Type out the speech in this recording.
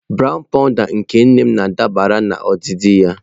Brown powụda nke nne m dabara na odidi ya.